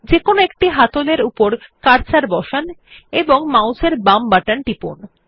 যেকোনো একটি হাতল এর উপর কার্সার বসান এবং মাউসের বাম বাটন টিপুন